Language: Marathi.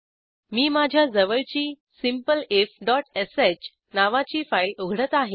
मी माझ्या जवळची simpleifश नावाची फाईल उघडत आहे